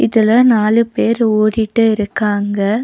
இதுல நாலு பேர் ஓடிட்டு இருக்காங்க.